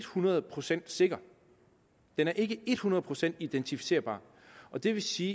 hundrede procent sikker den er ikke hundrede procent identificerbar og det vil sige